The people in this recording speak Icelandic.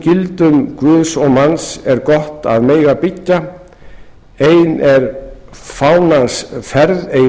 gildum guðs og manns er gott að mega byggja ein er fánans ferð ei